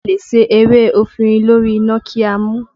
A lè se ewé efinrin lórí iná kí a mu u